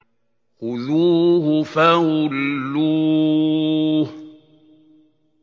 خُذُوهُ فَغُلُّوهُ